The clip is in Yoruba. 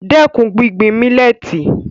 Dẹ́kun gbígbin mílẹ́tì